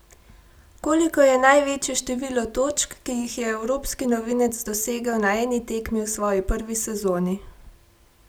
Koliko je največje število točk, ki jih je evropski novinec dosegel na eni tekmi v svoji prvi sezoni?